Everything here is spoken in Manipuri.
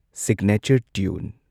Signature tune.